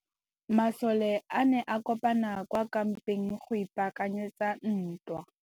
Masole a ne a kopane kwa kampeng go ipaakanyetsa ntwa.